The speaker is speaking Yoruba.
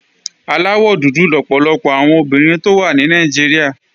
Aláwọ̀ dúdú lọ̀pọ̀lọpọ̀ àwọn obìnrin tó wà ní Nàìjíríà